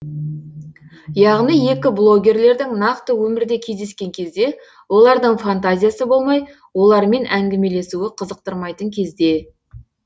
яғни екі блогерлердің нақты өмірде кездескен кезде олардың фантазиясы болмай олармен әңгімелесуі қызықтырмайтын кезде